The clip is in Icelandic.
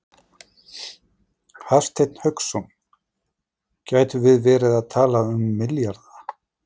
Hafsteinn Hauksson: Gætum við verið að tala um milljarða?